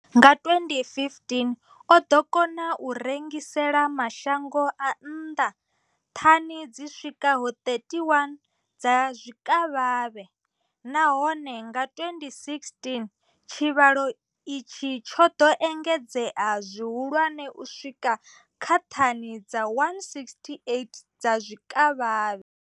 Nga 2015, o ḓo kona u rengisela mashango a nnḓa thani dzi swikaho 31 dza zwikavhavhe, nahone nga 2016 tshivhalo itshi tsho ḓo engedzea zwihulwane u swika kha thani dza 168 dza zwikavhavhe.